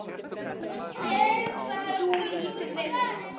Þú lítur vel út.